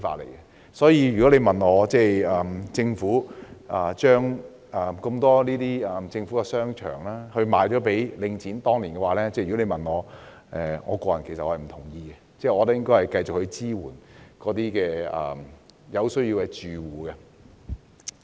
因此，如果問我對政府當年將眾多政府商場出售給領匯的看法，我個人是不贊同的，因我認為應繼續支援有需要的住戶。